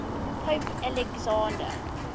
pope alexander